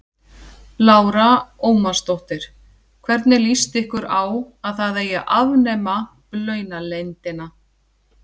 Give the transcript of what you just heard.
Lára Ómarsdóttir: Hvernig lýst ykkur á að það eigi að afnema launaleyndina?